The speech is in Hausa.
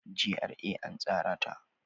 GRA an tsara ta.